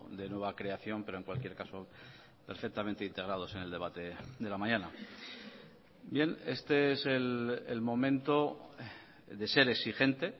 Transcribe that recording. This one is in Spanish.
de nueva creación pero en cualquier caso perfectamente integrados en el debate de la mañana bien este es el momento de ser exigente